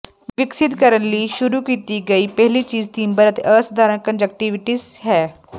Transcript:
ਵਿਕਸਤ ਕਰਨ ਲਈ ਸ਼ੁਰੂ ਕੀਤੀ ਗਈ ਪਹਿਲੀ ਚੀਜ ਤੀਬਰ ਅਤੇ ਅਸਾਧਾਰਣ ਕੰਨਜਕਟਿਵਾਇਟਿਸ ਹੈ